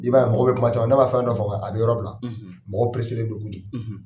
I b'a ye mɔgɔ bɛ kuma caman na n'a fɛn dɔ famuya a bɛ yɔrɔ bila mɔgɔw pereselen do kojugu.